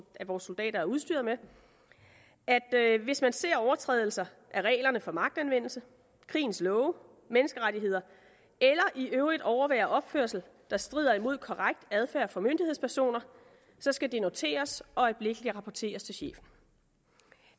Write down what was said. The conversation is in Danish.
af vores soldater er udstyret med at hvis man ser overtrædelser af reglerne for magtanvendelse krigens love menneskerettigheder eller i øvrigt overværer opførsel der strider imod korrekt adfærd for myndighedspersoner så skal det noteres og øjeblikkeligt rapporteres til chefen